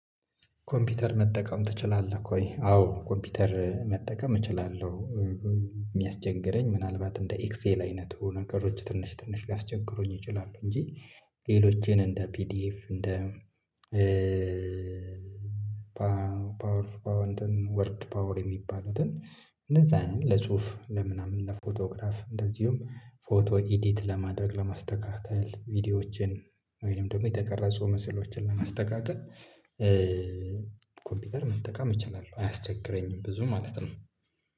ኮምፒውተር መጠቀም ትችላለህ ወይ? አዎ ኮምፒውተር መጠቀም እችላለሁ። የሚያስቸግረኝ ምናልባት እንደ ኤክሴል አይነቱ ነገሮች ትንሽ ትንሽ ሊያስቸግሩኝ ይችላሉ እንጂ። ሌሎችን እንደ ፒዲኤፍ እንደ ፓወር ፓወር እንተን ወርድ ፓወር የሚባሉትን። እንደዛ አይነት ለጽሁፍ ለምናምን ለፎቶግራፍ እንደዚሁም ፎቶ ኢዲት ለማድረግ ለማስተካከል ቪዲዮዎችን ወይንም ደግሞ የተቀረጹ ምስሎችን ለማስተካከል መጠቀም እችላለሁ አያስቸግረኝም። ብዙ ማለት ነው